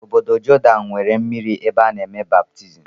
Ọbọdọ Jordan nwere mmiri ebe ana eme baptizim.